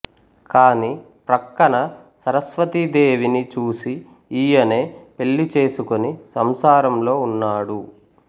కాని ప్రక్కన సరస్వతీదేవిని చూసి ఈయనే పెళ్ళి చేసుకొని సంసారంలో ఉన్నాడు